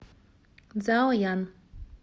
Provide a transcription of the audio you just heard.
цзаоян